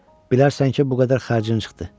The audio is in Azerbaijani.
Bilərsən ki, bu qədər xərcin çıxdı.